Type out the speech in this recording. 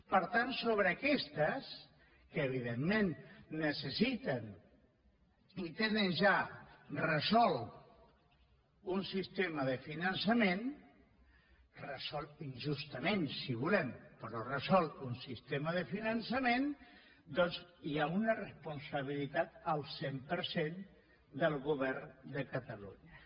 per tant sobre aquestes que evidentment necessiten i tenen ja resolt un sistema de finançament resolt injustament si volem però resolt un sistema de finançament doncs hi ha una responsabilitat del cent per cent del govern de catalunya